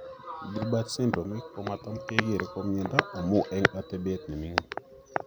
Gilbert syndrome komatam kekeree ko miondo amun eng' atebet nemingin